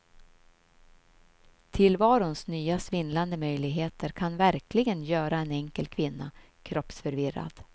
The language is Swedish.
Tillvarons nya svindlande möjligheter kan verkligen göra en enkel kvinna kroppsförvirrad.